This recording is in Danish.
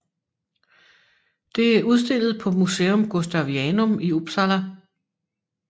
Det er udstillet på Museum Gustavianum i Uppsala